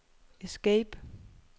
escape